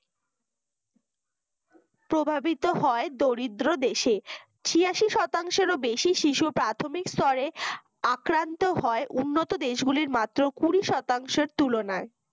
প্রভাবিত হয় দরিদ্র দেশে ছিয়াশি শতাংশেরও বেশি শিশু প্রথমিক স্তরে আক্রান্ত হয় উন্নত দেশগুলোর মাত্র কুড়ি শতাংশের তুলনায়